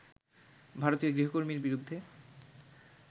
ভারতীয় গৃহকর্মীর বিরুদ্ধে